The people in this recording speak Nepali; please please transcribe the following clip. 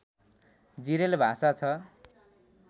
जिरेल भाषा छ